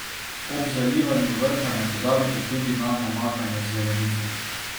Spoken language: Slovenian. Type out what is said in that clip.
Ob zalivanju vrta ne pozabite tudi na namakanje zelenice.